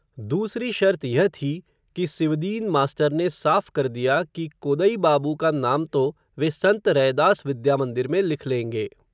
दूसरी शर्त यह थी, कि सिवदीन मास्टर ने साफ़ कर दिया, कि कोदई बाबू का नाम तो, वे सन्त रैदास विद्यामन्दिर में लिख लेंगे